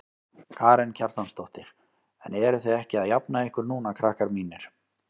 Karen Kjartansdóttir: En eruð þið ekki að jafna ykkur núna krakkar mínir?